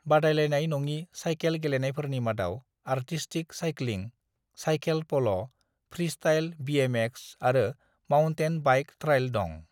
"बादायलायनाय नङि साइखेल गेलेनायफोरनि मादाव आरटिसटिक सायख्लिं, साइखेल पल', फ्रीस्टाइल बीएमएक्स आरो माउन्टेन बाइक ट्रायल दं।"